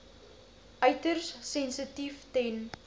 uiters sensitief ten